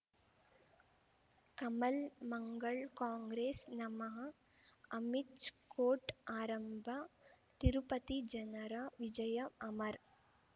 ಕಮಲ್ ಮಂಗಳ್ ಕಾಂಗ್ರೆಸ್ ನಮಃ ಅಮಿಷ್ ಕೋರ್ಟ್ ಆರಂಭ ತಿರುಪತಿ ಜನರ ವಿಜಯ ಅಮರ್